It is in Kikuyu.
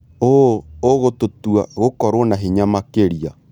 ũũ ũgũtũtua gũkorwo na hinya makĩria.